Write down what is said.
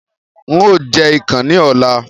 Ń ó jẹ̀ ikán ni ọ̀la.